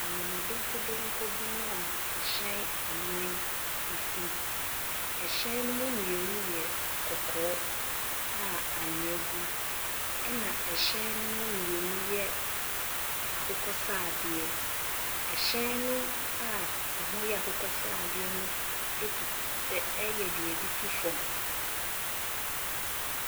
Amana donkodonko bi mu a ɛhyɛn nnan si. ℇhyɛn no mu mmienu yɛ kɔkɔɔ a anwea gu mu, ɛna ɛhyɛn no mu mmienu yɛ akokɔ sradeɛ. ℇhyɛn no a ɛho yɛ akokɔ sradeɛ no etu ɛɛ ɛyɛ deɛ yɛde tu fam.